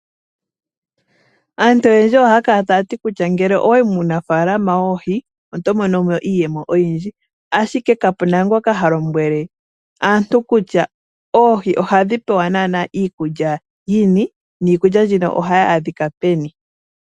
Aantu oyendji ohaya kala taya ti nele owayi munafaalama woohi oto mono iiyemo oyindji. Ashike kapena ngoka ha lombwele aantu kutya oohi ohadhi pewa iikulya yini nohayi adhika peni.